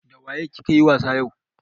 Dawaye ki ka yi wasa yau?